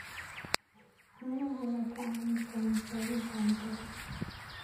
Caanaha ayaa kaa caawin kara raadinta cuntada.